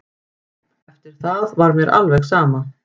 Eftir það var mér alveg sama.